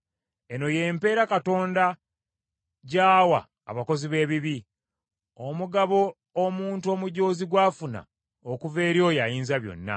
“Eno y’empeera Katonda gy’awa abakozi b’ebibi, omugabo omuntu omujoozi gw’afuna okuva eri oyo Ayinzabyonna: